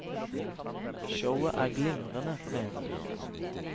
Showet er glimrende, mener de.